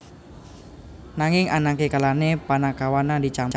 Nanging ana kalane panakawane dicampur